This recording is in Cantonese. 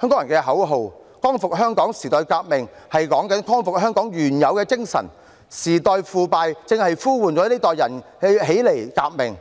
香港人的口號"光復香港、時代革命"是指光復香港原有的精神，時代腐敗正在呼喚這一代人起來革命，